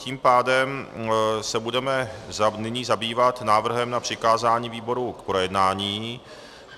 Tím pádem se budeme nyní zabývat návrhem na přikázání výboru k projednání.